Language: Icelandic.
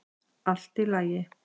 Allt í lagi.